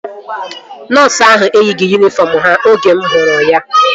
Nọọsu ahu eyighị yunifọm ha oge mụ hụrụ ya